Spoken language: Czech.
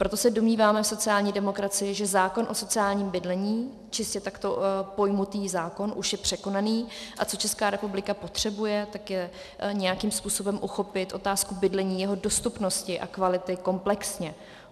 Proto se domníváme v sociální demokracii, že zákon o sociálním bydlení, čistě takto pojatý zákon, už je překonaný, a co Česká republika potřebuje, tak je nějakým způsobem uchopit otázku bydlení, jeho dostupnosti a kvality komplexně.